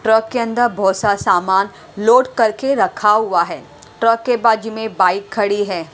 Truck के अंदर बहुत सारा सा सामान लोड करके रखा हुआ है ट्रक के बाजू में बाइक खड़ी है।